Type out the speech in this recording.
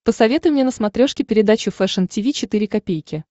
посоветуй мне на смотрешке передачу фэшн ти ви четыре ка